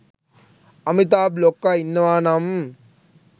අමිතාබ් ලොක්කා ඉන්නවා නම්